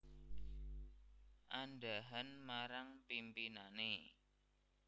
Andhahan marang pimpinane